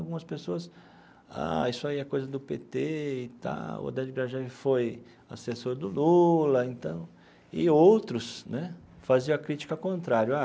Algumas pessoas, ah, isso aí é coisa do pê tê e tal, Oded Grajew foi assessor do Lula então, e outros né faziam a crítica contrária ah.